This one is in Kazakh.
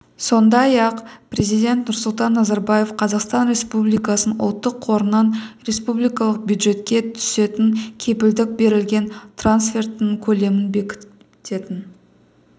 сондай-ақ президент нұрсұлтан назарбаев қазақстан республикасының ұлттық қорынан республикалық бюджетке түсетін кепілдік берілген трансферттің көлемін бекітетін